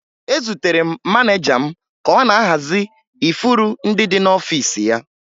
Ezutere m maneja m ka ọ na-ahazi ifuru ndị dị n'ọfiisi ya